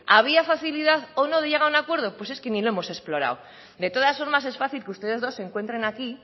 había facilidad o no de llegar a un acuerdo pues es que ni lo hemos explorado de todas formas es fácil que ustedes dos se encuentren aquí